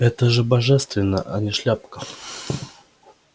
это же божественно а не шляпка